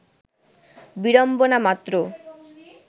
বিড়ম্বনা মাত্র